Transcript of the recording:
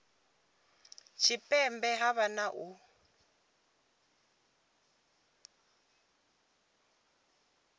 tshipembe ha vha na u